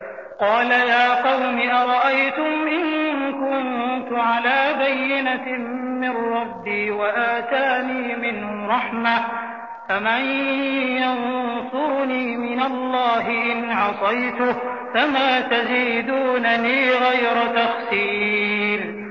قَالَ يَا قَوْمِ أَرَأَيْتُمْ إِن كُنتُ عَلَىٰ بَيِّنَةٍ مِّن رَّبِّي وَآتَانِي مِنْهُ رَحْمَةً فَمَن يَنصُرُنِي مِنَ اللَّهِ إِنْ عَصَيْتُهُ ۖ فَمَا تَزِيدُونَنِي غَيْرَ تَخْسِيرٍ